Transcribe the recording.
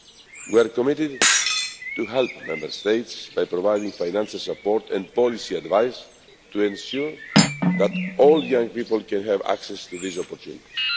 We are committed to helping Member States by providing financial support and policy advice to ensure that all young people can have access to these opportunities.